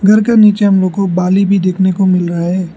घर का नीचे हमलोग को बाली भी देखने को मिल रहा है।